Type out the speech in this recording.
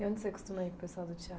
E onde você costuma ir com o pessoal do